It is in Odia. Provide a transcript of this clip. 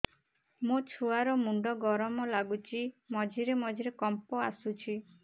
ମୋ ଛୁଆ ର ମୁଣ୍ଡ ଗରମ ଲାଗୁଚି ମଝିରେ ମଝିରେ କମ୍ପ ଆସୁଛି